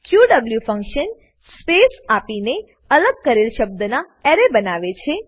ક્યુએવ function space આપીને અલગ કરેલ શબ્દના એરે બનાવે છે